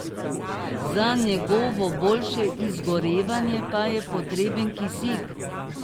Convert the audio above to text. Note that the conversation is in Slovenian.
Za njegovo boljše izgorevanje pa je potreben kisik.